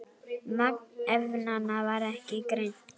Magn efnanna var ekki greint.